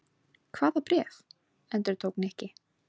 Hvaða bréf? endurtók Nikki.